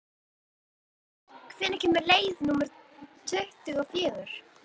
París, hvenær kemur leið númer tuttugu og fjögur?